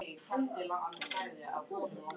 Jú, hún kom hingað um daginn til að kaupa mynd af mér.